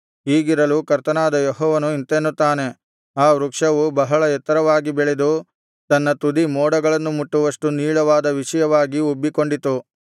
ಹೀಗಿರಲು ಕರ್ತನಾದ ಯೆಹೋವನು ಇಂತೆನ್ನುತ್ತಾನೆ ಆ ವೃಕ್ಷವು ಬಹಳ ಎತ್ತರವಾಗಿ ಬೆಳೆದು ತನ್ನ ತುದಿ ಮೋಡಗಳನ್ನು ಮುಟ್ಟುವಷ್ಟು ನೀಳವಾದ ವಿಷಯವಾಗಿ ಉಬ್ಬಿಕೊಂಡಿತ್ತು